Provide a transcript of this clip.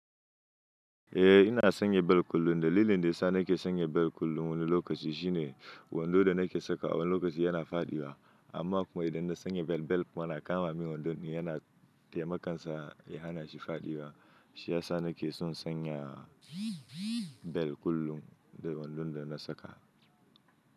Eh ina sanya bel kullum. Dalilin da yasa nake sanya bel kullum wani lokaci shine wando da nake sakawa a wani lokaci yana fadiwa. Amma kuma idan na sanya bel, bel kuma na kama min wandon yana taimakansa ya hanashi fadiwa. Shi ya sa nake son sanya bel kullum da wandon da na saka.